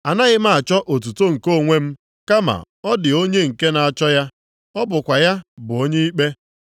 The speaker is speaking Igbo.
Anaghị m achọ otuto nke onwe m, kama ọ dị onye nke na-achọ ya. Ọ bụkwa ya bụ onye ikpe.